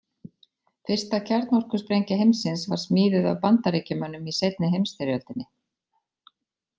Fyrsta kjarnorkusprengja heimsins var smíðuð af Bandaríkjamönnum í seinni heimsstyrjöldinni.